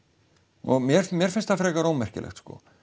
og mér finnst mér finnst það frekar ómerkilegt